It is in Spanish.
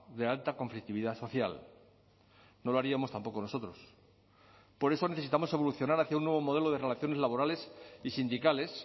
de alta conflictividad social no lo haríamos tampoco nosotros por eso necesitamos evolucionar hacia un nuevo modelo de relaciones laborales y sindicales